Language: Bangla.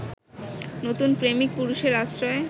নতুন প্রেমিক-পুরুষের আশ্রয়ে